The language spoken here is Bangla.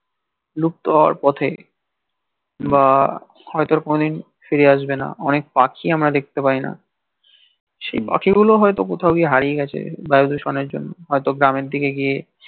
বিলুপ্ত হওয়ার পথে বা হয়ত আর কোনোদিন ফিরে আসবে না অনেক পাখি আমরা দেখতে পাই না সেই পাখি গুলো হয়ত কোথাও গিয়ে হারিয়ে গেছে বায়ু দূষণের জন্যে হয়ত গ্রামের দিকে গিয়ে